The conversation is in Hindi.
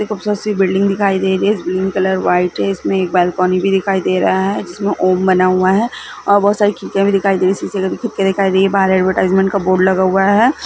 बहुत ही खूबसूरत सी बिल्डिंग दिखाई दे रही है ग्रीन कलर व्हाइट है इसमें एक बालकनी भी दिखाई दे रहा है जिसमें ओम बना हुआ है और बहुत सारी खिड़कियां भी दिखाई दे रही है इसमें से खिड़की दिखाई दे रही है बाहर एडवर्टाइजमेंट का बोर्ड लगा हुआ है।